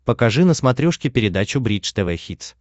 покажи на смотрешке передачу бридж тв хитс